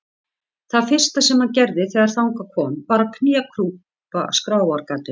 Það fyrsta sem hann gerði þegar þangað kom var að knékrjúpa skráargatinu.